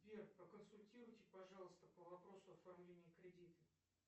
сбер проконсультируйте пожалуйста по вопросу оформления кредита